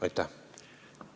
Aitäh!